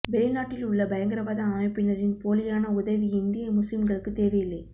வெளிநாட்டில் உள்ள பயங்கரவாத அமைப்பினரின் போலியான உதவி இந்திய முஸ்லிம்களுக்குத் தேவையில்லை